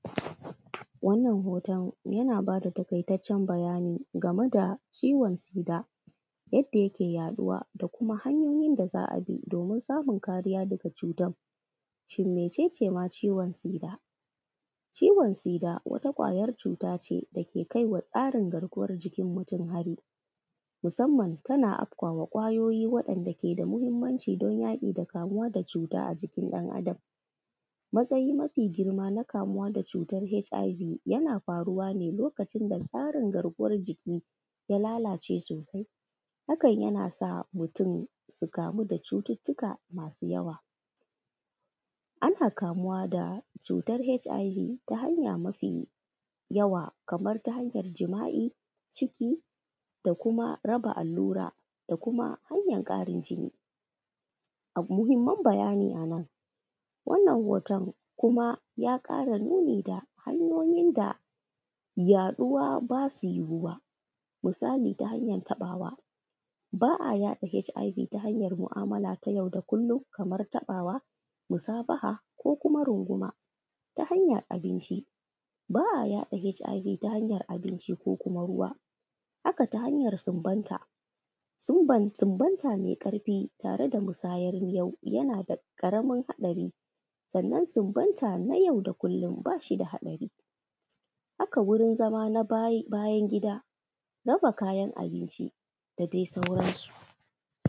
Wannan hoton yana bada taƙaitacen bayani game da ciwon sida, yadda yake yaɗuwa da kuma hanyoyin da za a bi domin samun kariya daga cutan. Shin mece ce ma ciwon sida? Ciwon sida wata kwayar cuta ce dake kaiwa tsarin garkuwar jikin mutum hari musamman tana afkawa kwayoyi waɗanda ke da muhimmanci dan yaƙi da kamuwa da cuta a jikin ɗan’Adam, matsayi mafi girma na kamuwa da cutar HIV yana faruwa ne lokacin da tsarin garkuwar jiki ya lalace sosai hakan yana sa mutum su kamu da cututuka masu yawa. Ana kamuwa da cutar HIV ta hanya mafiyawa kamar ta hanyar jima’i ciki da kuma raba allura da kuma hanyar ƙarin jini. Muhimman bayani a nan wannan hoton kuma ya ƙara nuni da hanyoyin da yaɗuwa ba su yiwu wa musali ta hanyar taɓawa ba a yaɗa HIV ta hanyar mu’amala ta yau da kullum kamar taɓawa musabaha ko kuma runguma, ta hanyar abinci ba a yaɗa HIV, ta hanyar abinci ko kuma ruwa haka ta hanyar sunbata mai ƙarfi tare da musayar miyau. Yana da ƙaramin haɗari sannan sunbata na yau da kullum ba shi da haɗari haka wurin zama na bayan gida, raba kayan abinci da dai sauransu.